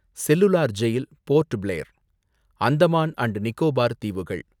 cellular jail, Port Blair, Andaman and Nicobar தீவுகள்